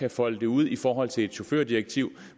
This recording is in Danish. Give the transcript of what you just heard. at folde det ud i forhold til et chaufførdirektiv